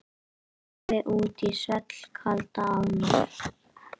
Lagði út í svellkalda ána